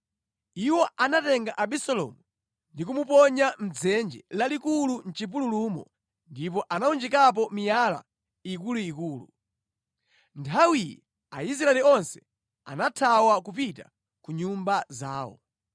Iwo anatenga Abisalomu ndi kumuponya mʼdzenje lalikulu mʼchipululumo ndipo anawunjikapo miyala ikuluikulu. Nthawiyi Aisraeli onse anathawa kupita ku nyumba zawo.